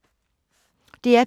DR P3